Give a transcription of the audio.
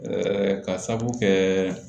ka sababu kɛ